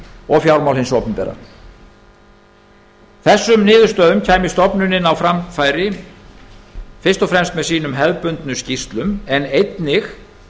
og fjármál hins opinbera stofnunin kæmi niðurstöðunum á framfæri fyrst og fremst með hefðbundnum skýrslum en einnig